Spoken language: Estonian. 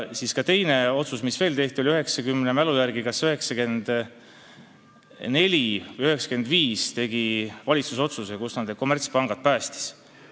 Siis tehti ka teine otsus: minu mälu järgi langetas valitsus kas 1994. või 1995. aastal otsuse, millega ta need kommertspangad päästis.